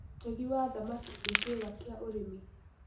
ũtegi wa thamakĩ nĩ kĩĩga kĩa ũrĩmi